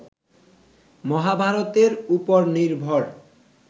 মহাভারতের উপর নির্ভর